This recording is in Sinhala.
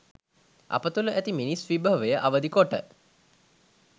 අප තුළ ඇති මිනිස් විභවය අවදි කොට